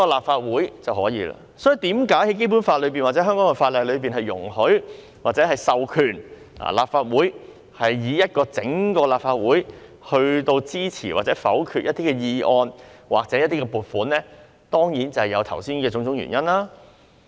所以，為何《基本法》或香港法例會授權立法會，由整體立法會一起支持或否決一些議案或撥款議案，當然就是由於剛才提到的原因。